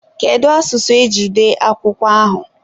kedu asụsụ eji dee akwụkwọ ahụ?